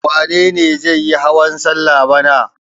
Wane ne zai yi hawan salla bana?